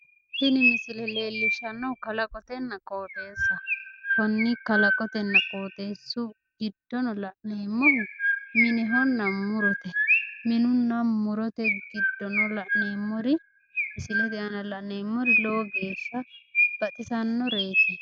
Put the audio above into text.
tini misile leellishshannohu kalaqonna qooxeessaho konni kalaqonna qooxeessu giddono la'neemmohu minehonna murote minehonna murote giddono la'neemmori misilete aana la'neemmori lowo geeshsha baxisannoreeti.